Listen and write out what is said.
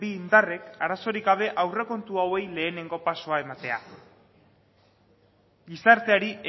bi indarrek arazorik gabe aurrekontu hauei lehenengo pausua ematea gizarteari